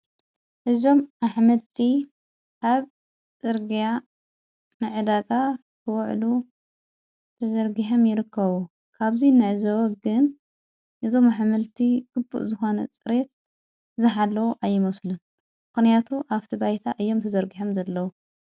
እዞም ኣኅመልቲ አብ ፅርግያ ነዕዳጋ ኽውዕሉ ተዘርጊሐም ይርከዉ። ካብዙይ ንዕዘወግን እዞም ኣሓመልቲ ግቡእ ዝሓነ ጽሬት ዝኃለዉ ኣይመሱሉን። ምክንያቱ ኣብቲ ባይታ ኢዮም ተዘርግሐም ዘለዉ።